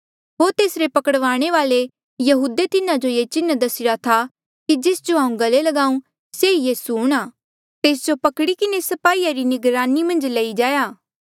होर तेसरे पकड़वाणे वाले यहूदे तिन्हा जो ये चिन्ह दस्सीरा था कि जेस जो हांऊँ चूमी लू से ई यीसू हूंणां तेस जो पकड़ी किन्हें स्पाहीया री निगरानी मन्झ लई जाया